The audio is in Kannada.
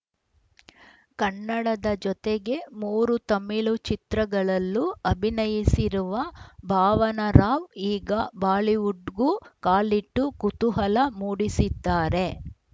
ಕನ್ನಡದ ಜತೆಗೆ ಮೂರು ತಮಿಳು ಚಿತ್ರಗಳಲ್ಲೂ ಅಭಿನಯಿಸಿರುವ ಭಾವನಾ ರಾವ್‌ ಈಗ ಬಾಲಿವುಡ್‌ಗೂ ಕಾಲಿಟ್ಟು ಕುತೂಹಲ ಮೂಡಿಸಿದ್ದಾರೆ